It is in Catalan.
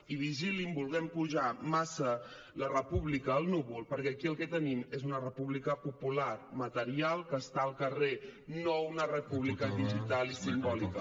i vigilin volent pujar massa la república al núvol perquè aquí el que tenim és una república popular material que està al carrer no una república digital i simbòlica